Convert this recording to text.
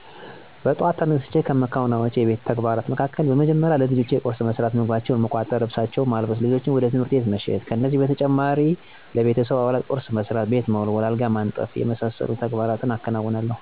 በጥዋት ተነስቸ ከምከውናቸው የቤት ዉስጥ ተግባራት መካከል፦ በመደመሪያ ለልጆቸ ቁርስ መስራት፣ ምግባቸውን መቋጠር፣ ልብሳቸውን በማልበስ ልጆችን ወደ ትምህርት ቤት መሸኘት ነው። ከዚህ በተጨማሪ ደግሞ በጧት ተነስቸ የማከናውናቸው ተግባራት ቢኖር ለቤተሰቡ አባላት ቁርስ መስራት፣ ቤት መወልወል፣ አልጋ ማንጠፋ፣ ቤትን ማስተካከል፣ ውሀ መቅዳት፣ የጨቅላዋን ልብስ ማጠብ፣ የጨቅላዋን ወተት ከሰፈር ማምጣት ነው፣ እንዲሁም የጓሮ አታክልቶችን መኮትኮትና ውሀ ማጠጣት ነው።